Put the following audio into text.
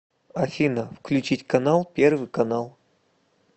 афина включить канал первый канал